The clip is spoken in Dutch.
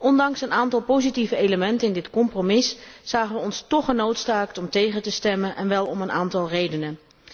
Ondanks een aantal positieve elementen in dit compromis zagen wij ons toch genoodzaakt om tegen te stemmen, en wel om een aantal redenen.